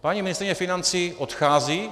Paní ministryně financí odchází.